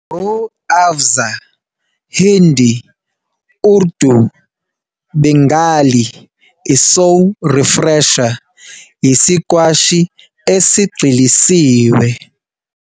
Rooh Afza, Hindi, Urdu, Bengali, i-Soul Refresher, yisikwashi esigxilisiwe.